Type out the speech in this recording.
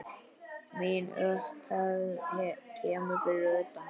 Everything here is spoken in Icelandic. Mín upphefð kemur að utan.